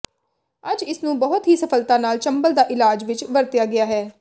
ਅੱਜ ਇਸ ਨੂੰ ਬਹੁਤ ਹੀ ਸਫਲਤਾ ਨਾਲ ਚੰਬਲ ਦਾ ਇਲਾਜ ਵਿਚ ਵਰਤਿਆ ਗਿਆ ਹੈ